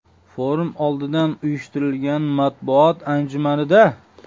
Forum oldidan uyushtirilgan matbuot anjumanida.